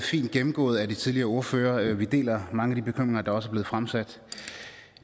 fint gennemgået af de tidligere ordførere vi deler mange af de bekymringer der også er blevet fremsat